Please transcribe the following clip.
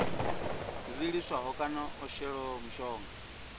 vhiliswaho kana o shelwaho mushonga